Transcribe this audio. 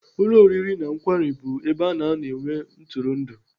Ụlọ oriri na nkwari bụ ebe ana anọ enwe ntụrụndụ.